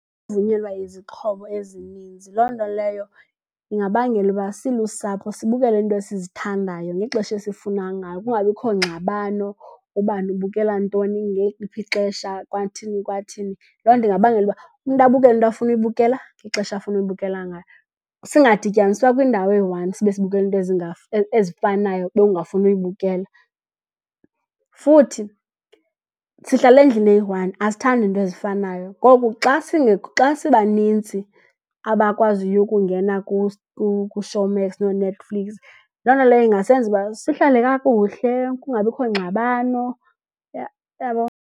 Vunyelwa izixhobo ezininzi. Loo nto leyo ingabangela uba silusapho sibukele iinto esizithandayo ngexesha esifuna ngalo, kungabikho ngxabano, ubani ubukela ntoni ngeliphi ixesha kwathini, kwathini. Loo nto ingabangela ukuba umntu abukele into afuna uyibukela ngexesha afuna uyibukela ngayo. Singadityaniswa kwindawo eyi-one sibe sibukela iinto ezifanayo ube ungafuni uyibukela. Futhi sihlala endlini eyi-one asithandi nto ezifanayo. Ngoku xa sibanintsi abakwaziyo ukungena kuShowmax nooNetflix, loo nto leyo ingasenza ukuba sihlale kakuhle kungabikho ngxabano, uyabo?